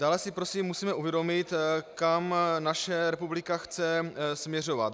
Dále si prosím musíme uvědomit, kam naše republika chce směřovat.